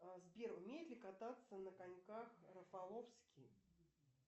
сбер умеет ли кататься на коньках рафаловский